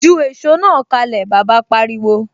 Ju èsó náà kalẹ! Bàbá pariwo.